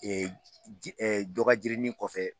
ji dɔ ka jirinin kɔfɛ.